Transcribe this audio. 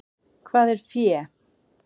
Hvað er fé?